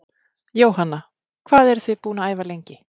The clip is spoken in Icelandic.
Jóhanna: Hvað eruð þið búin að æfa lengi?